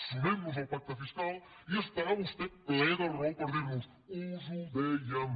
sumem nos al pacte fiscal i estarà vostè ple de raó per dir nos us ho dèiem